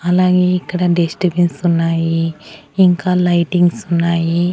అలాగే ఇక్కడ dust bins ఉన్నాయి ఇంకా లైటింగ్స్ ఉన్నాయి.